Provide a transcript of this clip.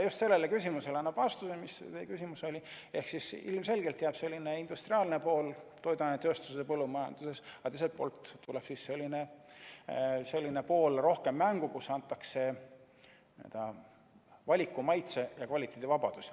Just see ongi vastus teie küsimusele ehk ilmselgelt jääb selline industriaalne pool toiduainetööstuses ja põllumajanduses, aga teisest küljest tuleb selline pool, kus antakse valiku-, maitse- ja kvaliteedivabadusi, rohkem mängu.